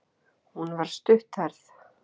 Hún var stutthærð.